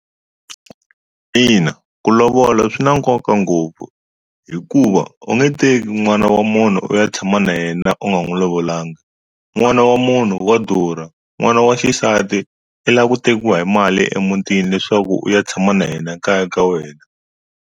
Ina ku lovola swi na nkoka ngopfu hikuva u nge teki n'wana wa munhu u ya tshama na yena u nga n'wu lovolanga, n'wana wa munhu wa durha n'wana wa xisati i la ku tekiwa hi mali emuntini leswaku u ya tshama na yena kaya ka wena.